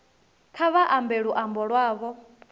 kha vha ambe luambo lwavho